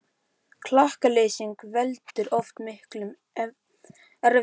Klakaleysing veldur oft miklum erfiðleikum á vorin.